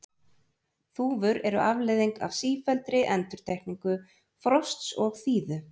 Þúfur eru afleiðing af sífelldri endurtekningu frosts og þíðu.